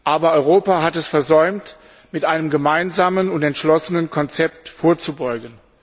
Aber Europa hat es versäumt, mit einem gemeinsamen und entschlossenen Konzept vorzubeugen.